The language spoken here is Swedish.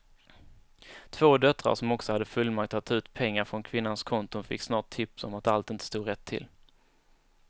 Två döttrar som också hade fullmakt att ta ut pengar från kvinnans konton fick snart tips om att allt inte stod rätt till.